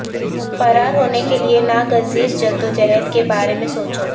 فرار ہونے کے لئے ناگزیر جدوجہد کے بارے میں سوچو